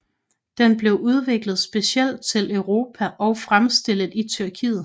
Den blev udviklet specielt til Europa og fremstillet i Tyrkiet